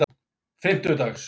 fimmtudags